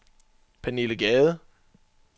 Pernille Gade